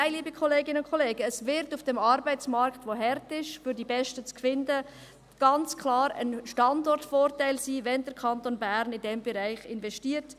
Nein, liebe Kolleginnen und Kollegen, es wird auf dem Arbeitsmarkt, auf dem es hart ist, die Besten zu finden, ganz klar ein Standortvorteil sein, wenn der Kanton Bern in diesen Bereich investiert.